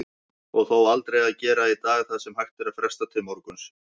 Og þó, aldrei að gera í dag það sem hægt er að fresta til morguns.